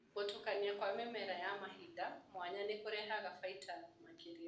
Gũtukania kwa mĩmera ya mahinda mwanya nĩkũrehaga bainda makĩria.